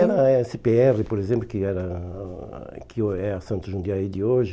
Era a esse pê erre, por exemplo, que era que o é a Santos Jundiaí de hoje.